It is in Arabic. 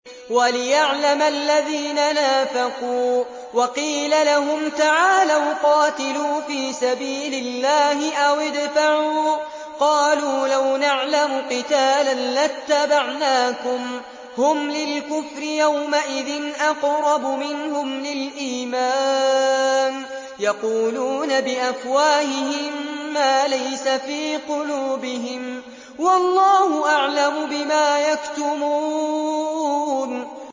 وَلِيَعْلَمَ الَّذِينَ نَافَقُوا ۚ وَقِيلَ لَهُمْ تَعَالَوْا قَاتِلُوا فِي سَبِيلِ اللَّهِ أَوِ ادْفَعُوا ۖ قَالُوا لَوْ نَعْلَمُ قِتَالًا لَّاتَّبَعْنَاكُمْ ۗ هُمْ لِلْكُفْرِ يَوْمَئِذٍ أَقْرَبُ مِنْهُمْ لِلْإِيمَانِ ۚ يَقُولُونَ بِأَفْوَاهِهِم مَّا لَيْسَ فِي قُلُوبِهِمْ ۗ وَاللَّهُ أَعْلَمُ بِمَا يَكْتُمُونَ